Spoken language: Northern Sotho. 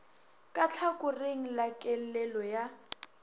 ka tlhakoring la kellelo ya